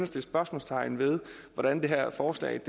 sætte spørgsmålstegn ved hvordan det her forslag